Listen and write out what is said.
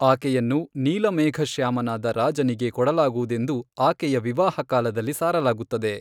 ಆಕೆಯನ್ನು ನೀಲಮೇಘಶ್ಯಾಮನಾದ ರಾಜನಿಗೆ ಕೊಡಲಾಗುವುದೆಂದು ಆಕೆಯ ವಿವಾಹ ಕಾಲದಲ್ಲಿ ಸಾರಲಾಗುತ್ತದೆ.